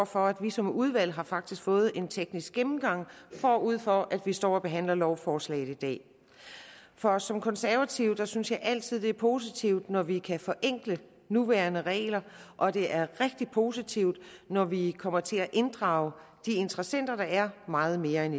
for at vi som udvalg faktisk har fået en teknisk gennemgang forud for at vi står og behandler lovforslaget i dag for som konservativ synes jeg altid det er positivt når vi kan forenkle nuværende regler og det er rigtig positivt når vi kommer til at inddrage de interessenter der er meget mere end